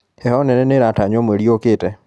heho nene nĩratanywo mweri ũkĩte